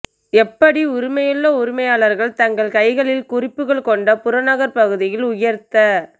எப்படி உரிமையுள்ள உரிமையாளர்கள் தங்கள் கைகளில் குறிப்புகள் கொண்ட புறநகர் பகுதியில் உயர்த்த